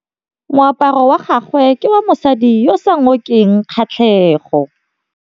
Moaparô wa gagwe ke wa mosadi yo o sa ngôkeng kgatlhegô.